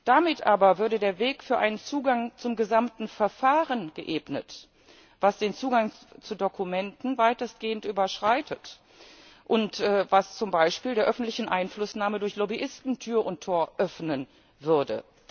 Damit aber würde der Weg für einen Zugang zum gesamten Verfahren geebnet, was den Zugang zu Dokumenten weitestgehend überschreitet und zum Beispiel der öffentlichen Einflussnahme durch Lobbyisten Tür und Tor öffnen würde.